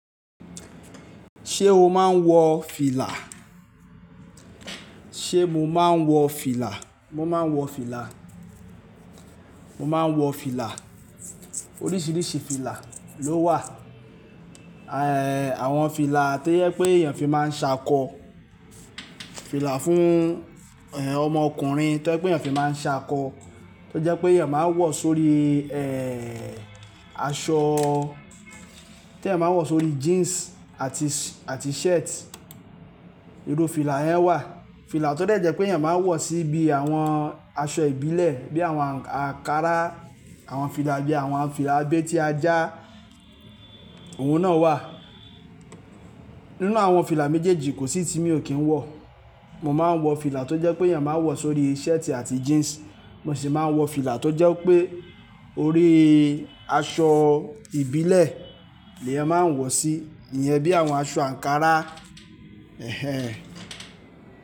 Ṣé o máa ń wọ fìlà? Ṣé mo máa ń wọ fìlà? Mo máa ń wọ fìlà. Mo máa ń wọ fìlà. Oríṣiríṣi fìlà ló wà. Àwọn fìlà tó yẹ pé èèyàn fi máa ń ṣakọ, fìlà fún ọmọ ọkùnrin tó yẹ pé èèyàn fi máa ń ṣakọ, tó jẹ́ pé èèyàn máa ń wọ̀ sórí aṣọ, tí èèyàn máa ń wọ̀ sórí jeans àti s-- àti shirt. Irú fìlà yẹn wà. Fìlà tó jẹ́ pé èèyàn máa ń wọ̀ síbi àwọn aṣọ ìbílẹ̀ bí àwọn àǹkárá, àwọn fìlà bí àwọn fìlà abetí a já òun náà wà. Nínú àwọn fìlà méjèèjì kò sí tí mi ò kí ń wọ̀. Mo máa ń wọ fìlà tó jẹ́ pé èèyàn máa ń wọ̀ sórí shirt àti jeans. Mo sì máa ń wọ fìlà tó jẹ́ pé orí aṣọ ìbílẹ̀ ni ẹyan máa ń wọ̀ sí, ìyẹn bí àwọn aṣọ àǹkárá.